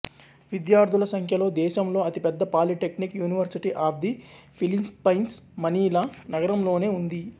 విద్యార్థుల సంఖ్యలో దేశంలో అతిపెద్ద polytechnic university of the Philippines Manila నగరంలోనే ఉంది